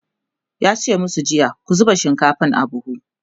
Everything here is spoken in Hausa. yace masu jiya " ku zuba shinkafan a buhu!"